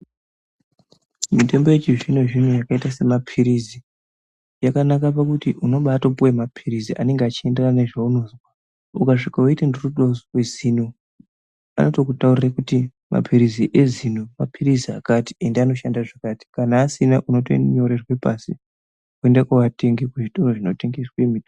Mitombo yechizvino zvino yakaite semaphirizi yakanaka pakuti unobatopuwe maphirizi anenge achienderana nezvaunozwa. Ukasviko weiti ndiri kude kuzwe zino ano tokutaurire kuti maphirizi ezino maphirizi akati ende anoshanda zvakati kana asina uno tonyorerwe pasi woenda koatenga kuzvitoro zvino tengeswe mitombo.